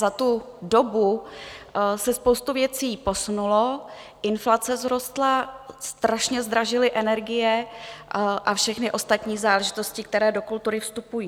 Za tu dobu se spousta věcí posunula, inflace vzrostla, strašně zdražily energie a všechny ostatní záležitosti, které do kultury vstupují.